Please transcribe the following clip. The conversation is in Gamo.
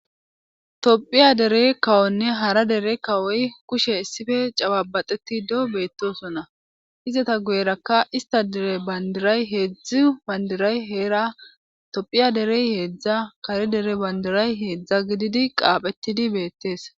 Tophiya derey kawonne hara dere kawoy kushe issife cababaxeti do beettosonna izata guyerakka ista dere bandiray heedzdzi bandiray heera tophiya derey heedzdza kare dere bandiray heedzdza gididi qaaphettidi beettees.